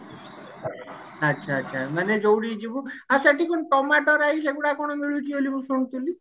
ଆଛା ଆଛା ମାନେ ଯୋଉଠି କି ଯିବୁ ଆଉ ସେଠି କଣ tomato rice ଅଗୌଡ କଣ ମିଳୁଛି ବୋଲି ମୁଁ ଶୁଣିଥିଲି